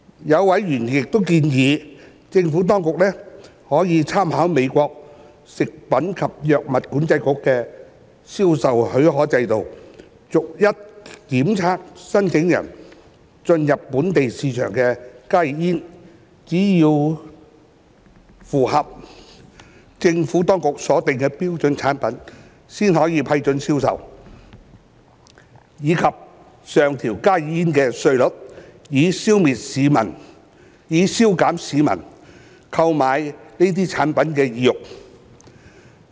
有委員亦建議，政府當局可參考美國食品及藥物管理局的銷售許可制度，逐一檢測申請進入本地市場的加熱煙，只有符合政府當局所訂標準的產品，才可批准銷售，以及上調加熱煙的稅率，以消減市民購買這些產品的意欲。